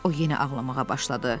O yenə ağlamağa başladı.